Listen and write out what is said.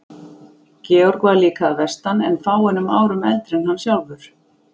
Georg var líka að vestan en fáeinum árum eldri en hann sjálfur.